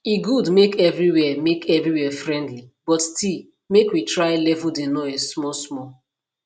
e good make everywhere make everywhere friendly but still make we try level de noise smallsmall